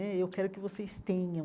Né e eu quero que vocês tenham.